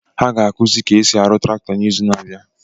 Ha ga-akizi ka esi arụ traktọ n’izu na-abịa